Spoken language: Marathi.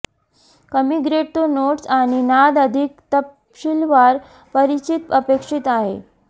कमी ग्रेड तो नोट्स आणि नाद अधिक तपशीलवार परिचित अपेक्षित आहे